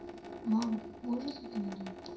мам можешь закинуть денег